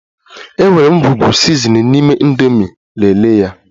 E nwere ngwugwu sizinin n'ime indomi, lelee ya